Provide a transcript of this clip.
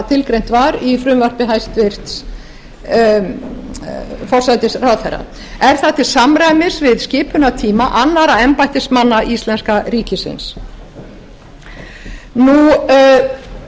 tilgreint var í frumvarpi hæstvirts forsætisráðherra er það til samræmis við skipunartíma annarra embættismanna íslenska ríkisins ég nefndi áðan